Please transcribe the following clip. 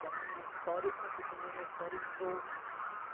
da minha história, eu conto também a história dos outros né.